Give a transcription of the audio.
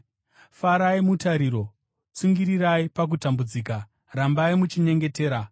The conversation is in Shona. Farai mutariro, tsungirirai pakutambudzika, rambai muchinyengetera.